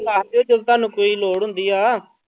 ਦੱਸ ਦਿਓ ਜਦੋਂ ਤੁਹਾਨੂੰ ਕੋਈ ਲੋੜ ਹੁੰਦੀ ਆ।